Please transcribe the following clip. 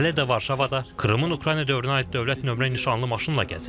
Hələ də Varşavada Krımın Ukrayna dövrünə aid dövlət nömrə nişanlı maşınla gəzirəm.